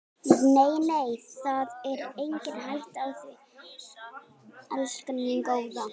Nei, nei, það er engin hætta á því, elskan mín góða.